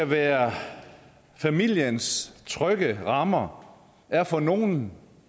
være familiens trygge rammer er for nogle